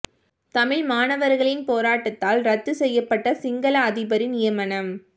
தமிழ் மாணவர்களின் போராட்டத்தால் இரத்துச் செய்யப்பட்ட சிங்கள அதிபரின் நியமனம்